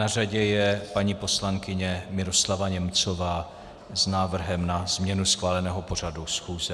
Na řadě je paní poslankyně Miroslava Němcová s návrhem na změnu schváleného pořadu schůze.